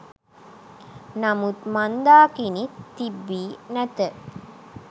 නමුත් මන්දාකිණි තිබී නැත